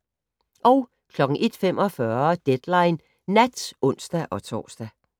01:45: Deadline Nat (ons-tor)